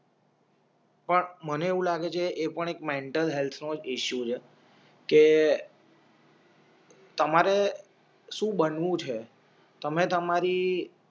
પણ મને એવું લાગે છે એ પણ એક મેન્ટલ હેલ્થ નોજ ઈશ્યૂ છે કે તમારે શું બનવું છે તમે તમારી